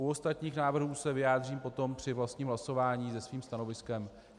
U ostatních návrhů se vyjádřím potom při vlastním hlasování se svým stanoviskem.